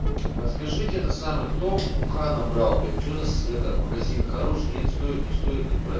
подскажите это самое кто уха набрал блять ужас это магазин хороший нет стоит не стоит брать